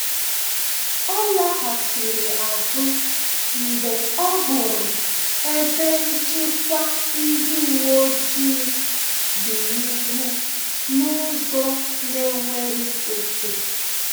Ọ laghachiri azụ mgbe ọ hụrụ ebe nchịkwa ndị uweojii dị n’ihu n’ụzọ na-enweghị ọke